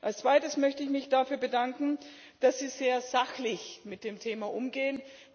Als Zweites möchte ich mich dafür bedanken, dass Sie sehr sachlich mit dem Thema umgehen.